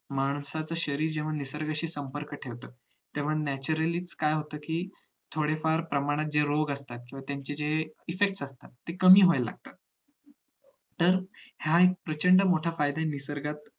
माणसाचं शरीर जेव्हा निसर्गाशी संपर्क ठेवत तेव्हा naturally च काय होत कि थोडे फार प्रमाणात जे रोग असतात किंवा त्याचे ते effect असतात ते कमी व्हायला लागतात तर हा एक प्रचंड मोठा फायदा आहे निसर्गात